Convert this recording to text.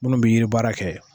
Munnu bi yiri baara kɛ.